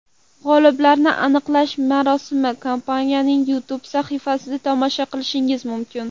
G‘oliblarni aniqlash marosimini kompaniyaning YouTube sahifasida tomosha qilishingiz mumkin.